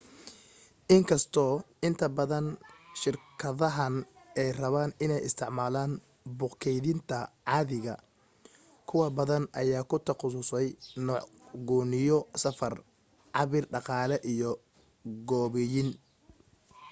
inkasto inta badan shirkadahan ay rabaan in ay isticmaalan buug keydinta caadiga kuwo badan ayaa ku taqasusay nuuc gooniyo safar cabir dhaqaale iyo gooboyin